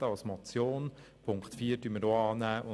als Motion angenommen hätten.